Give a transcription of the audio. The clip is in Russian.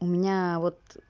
у меня вот